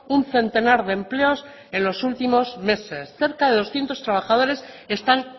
un centenar de empleos en los últimos meses cerca de doscientos trabajadores están